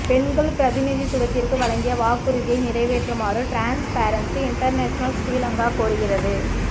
பெண்கள் பிரதிநிதித்துவத்திற்கு வழங்கிய வாக்குறுதியை நிறைவேற்றுமாறு ட்ரான்ஸ்பேரன்ஷி இன்டர்நெஷனல் ஸ்ரீலங்கா கோருகிறது